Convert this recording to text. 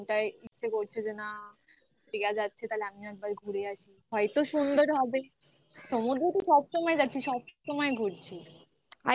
ইচ্ছে করছে যে না দীঘা যাচ্ছে তাহলে আমিও একবার ঘুরে আসি. হয়তো সুন্দর হবেই. সমুদ্র তো সবসময় যাচ্ছি. সব সময় ঘুরছি